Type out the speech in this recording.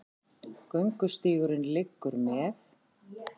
Göngustígurinn liggur með